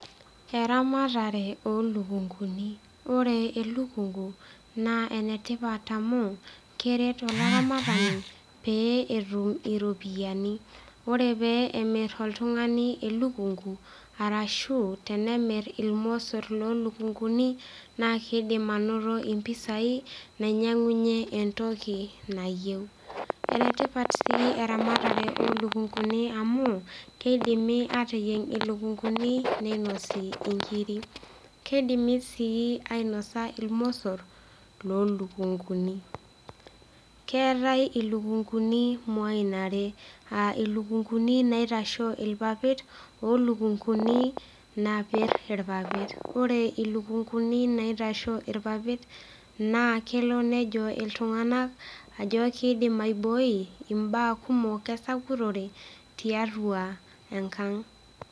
Eramatare olukunguni ore elukungu naa enetipat amu keret olaramatani pee etum iropiyiani ore pee emirr oltung'ani elukungu arashu tenemirr irmosorr lolukunguni naa kidim anoto impisai nainyiang'unyie entoki nayieu enetipat sii eramatare olukunguni amu keidimi atayieng ilukunguni neinosi inkiri kidimi sii ainosa ilmosorr lolukunguni keetae ilukunguni imuain are aa ilukunguni naitashoo ilpapit olukunguni napirr irpapit ore ilukunguni naitashoo irpapit naa kelo nejo iltung'anak ajo kidim aiboi imbaa kumok esakutore tiatua enkang'.